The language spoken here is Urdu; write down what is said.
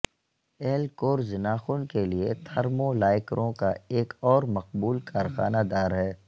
ایل کورز ناخن کے لئے تھرمو لائکروں کا ایک اور مقبول کارخانہ دار ہے